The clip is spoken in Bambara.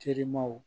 Terimaw